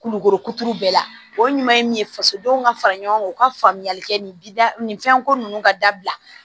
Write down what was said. Kulukoro kuturu bɛɛ la o ɲuman ye min ye fasodenw ka fara ɲɔgɔn kan u ka faamuyali kɛ nin fɛnko ninnu ka dabila